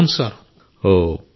అవును సార్ అవును సార్